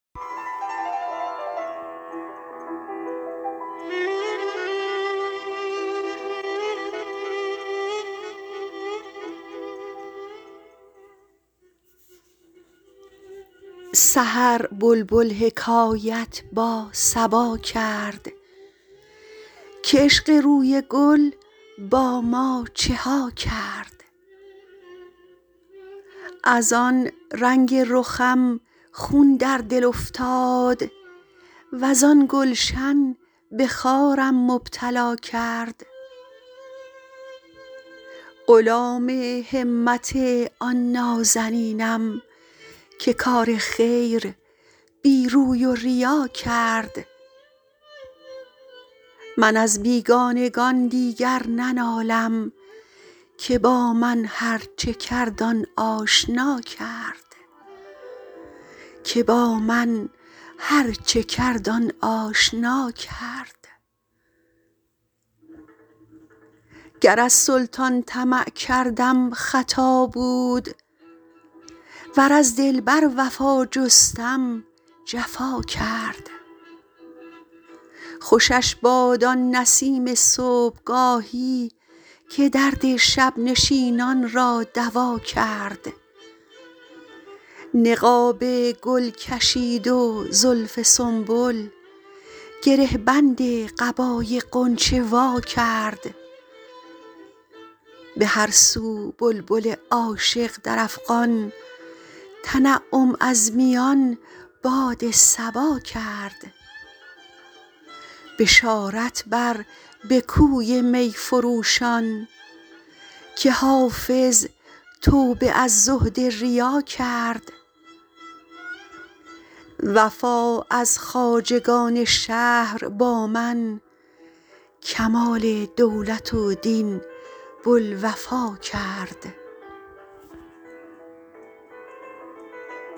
سحر بلبل حکایت با صبا کرد که عشق روی گل با ما چه ها کرد از آن رنگ رخم خون در دل افتاد وز آن گلشن به خارم مبتلا کرد غلام همت آن نازنینم که کار خیر بی روی و ریا کرد من از بیگانگان دیگر ننالم که با من هرچه کرد آن آشنا کرد گر از سلطان طمع کردم خطا بود ور از دلبر وفا جستم جفا کرد خوشش باد آن نسیم صبحگاهی که درد شب نشینان را دوا کرد نقاب گل کشید و زلف سنبل گره بند قبای غنچه وا کرد به هر سو بلبل عاشق در افغان تنعم از میان باد صبا کرد بشارت بر به کوی می فروشان که حافظ توبه از زهد ریا کرد وفا از خواجگان شهر با من کمال دولت و دین بوالوفا کرد